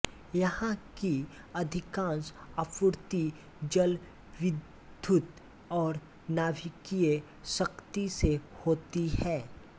यहां की अधिकांश आपूर्ति जलविद्युत और नाभिकीय शक्ति से होती है